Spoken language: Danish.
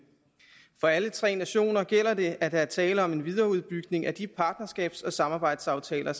for alle tre nationer gælder det at der er tale om en videreudbygning af de partnerskabs og samarbejdsaftaler